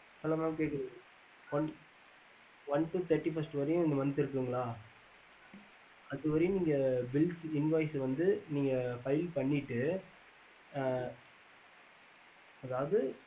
hello mam கேக்குதா அ கேக்குது சொல்லுங்க one to thirty one first in month அதுவரைக்கும் bill invoice file பண்ணிட்டு புரியல sir